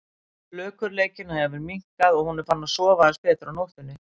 Flökurleikinn hefur minnkað og hún er farin að sofa aðeins betur á nóttunni.